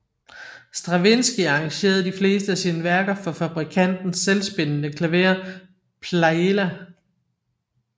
Stravinskij arrangerede de fleste af sine værker for fabrikantens selvspillende klaver Pleyela